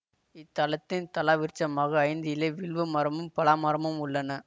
இத்தலத்தின் தலவிருட்சமாக ஐந்து இலை வில்வ மரமும் பலாமரம் உள்ளன